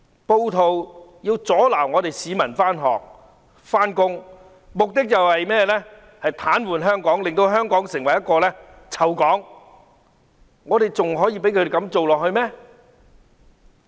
暴徒要阻撓市民上學、上班，目的是要癱瘓香港，令香港成為"臭港"，我們還要容忍他們繼續這樣做嗎？